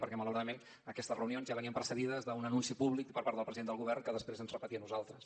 perquè malauradament aquestes reunions ja venien precedides d’un anunci públic per part del president del govern que després ens repetia a nosaltres